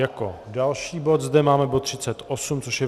Jako další bod zde máme bod 38, což je